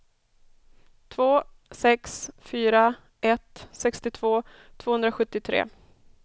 två sex fyra ett sextiotvå tvåhundrasjuttiotre